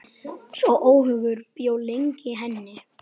Sá óhugur bjó lengi í henni.